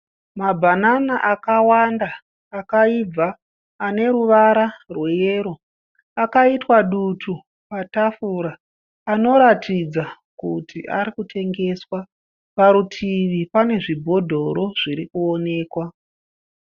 Mabhanana akawanda akaibva. Ane ruwara rwe yero akaitwa dutu patafura anoratidza kuti arikutengeswa. Parutivi pane zvibhodhoro zviri kuonekwa.